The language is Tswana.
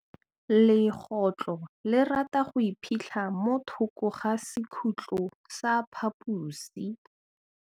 Legôtlô le rata go iphitlha mo thokô ga sekhutlo sa phaposi.